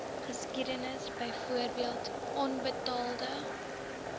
geskiedenis byvoorbeeld onbetaalde